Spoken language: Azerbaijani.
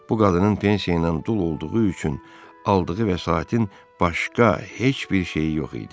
Bu qadının pensiya ilə dul olduğu üçün aldığı vəsaitin başqa heç bir şeyi yox idi.